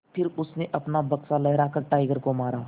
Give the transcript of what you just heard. फिर उसने अपना बक्सा लहरा कर टाइगर को मारा